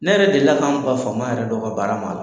Ne yɛrɛ deli k'an ban fama yɛrɛ dɔ ka baara ma ala